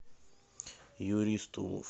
юрий стулов